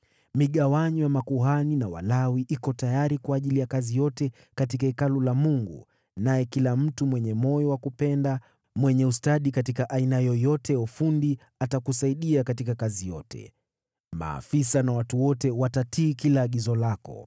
Migawanyo ya makuhani na Walawi iko tayari kwa ajili ya kazi yote katika Hekalu la Mungu, naye kila mtu mwenye moyo wa kupenda mwenye ustadi katika aina yoyote ya ufundi atakusaidia katika kazi yote. Maafisa na watu wote watatii kila agizo lako.”